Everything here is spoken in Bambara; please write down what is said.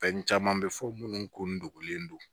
Fɛn caman bɛ fɔ minnu ko nogolen don